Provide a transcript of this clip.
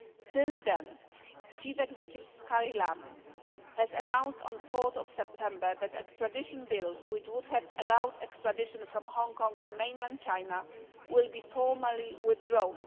Since then, Chief Executive Carrie Lam has announced, on 4 September, that the extradition bill, which would have allowed extradition from Hong Kong to mainland China, will be formally withdrawn.